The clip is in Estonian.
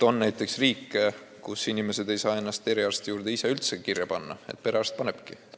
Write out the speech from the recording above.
On riike, kus inimesed ei saa ennast eriarsti juurde ise üldse kirja panna, perearst panebki.